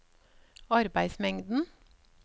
arbeidsmengden